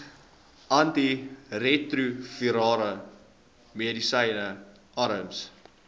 antiretrovirale medisyne arms